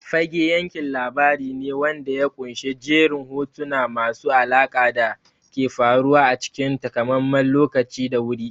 Fage yankin labari ne wanda ya ƙunshi jerin hotuna masu alaƙa da ke faruwa a cikin takamaiman lokaci da wuri.